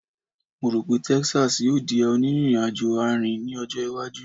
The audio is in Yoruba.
Mo ro pe Texas yoo di a oniriajo aarin ni ojo iwaju